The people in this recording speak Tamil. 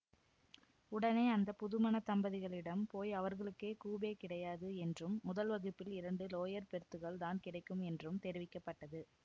உடனே அந்த புதுமணத் தம்பதிகளிடம் போய் அவர்களுக்கு கூபே கிடையாது என்றும் முதல் வகுப்பில் இரண்டு லோயர் பெர்த்துக்கள் தான் கிடைக்கும் என்றும் தெரிவிக்க பட்டது